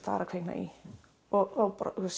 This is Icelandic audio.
að kvikna í og